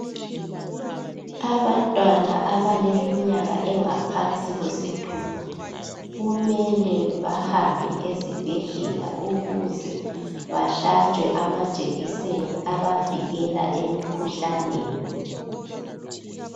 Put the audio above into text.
Abantwana abaleminyaka engaphansi kwesithupha, kumele bahambe ezibhedlela ukuze bahlatshwe amajekiseni abavikela emikhuhlaneni.